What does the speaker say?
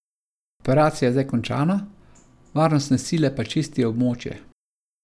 Operacija je zdaj končana, varnostne sile pa čistijo območje.